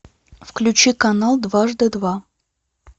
включи канал дважды два